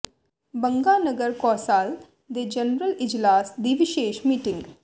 ਬੰਗਾ ਨਗਰ ਕੌ ਾਸਲ ਦੇ ਜਨਰਲ ਇਜਲਾਸ ਦੀ ਵਿਸ਼ੇਸ਼ ਮੀਟਿੰਗ